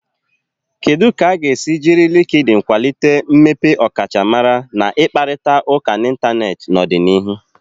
Kedu ka a ga-esi jiri Likidin kwalite mmepe ọkachamara na ịkparịta ụka n'Ịntanet n'ọdịnihu?